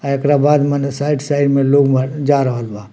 अ एकरा बाद मने साइड साइड में लोग म जा रहल बा।